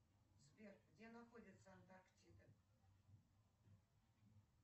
сбер где находится антарктида